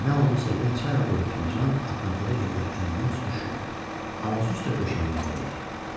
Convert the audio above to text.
Nə oldusa yenə çayla dolu fincan apardığı yerdə əlindən sürüşüb ağzı üstə döşəməyə dəydi.